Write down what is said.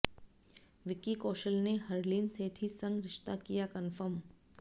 विक्की कौशल ने हरलीन सेठी संग रिश्ता किया कंफर्म